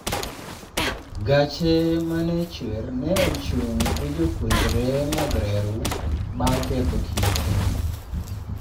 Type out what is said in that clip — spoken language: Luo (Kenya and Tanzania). gache ma ne chwer ne ochung gi jopuonjre mag reru bang' keto kite